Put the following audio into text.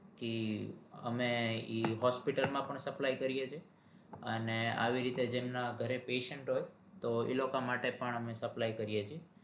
કે અમે ઈ hospital માં પણ supply કરીએ છીએ અને આવી રીતે જેમના ઘરે patient હોય તો ઈ લોકા માટે પણ supply કરીએ છીએ